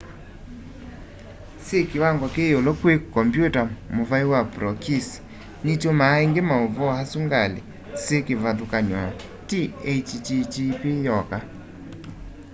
syi kiwango kiyiulu kwi kompyuta muvai wa prokisi nitumaa ingi mauvoo asu ngali syi kivathyukany'o ti http yoka